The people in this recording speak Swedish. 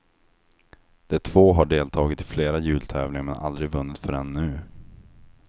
De två har deltagit i flera jultävlingar men aldrig vunnit förrän nu.